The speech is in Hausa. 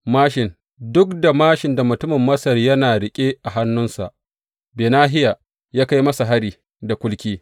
Duk da māshin da mutumin Masar yana riƙe a hannunsa, Benahiya ya kai masa hari da kulki.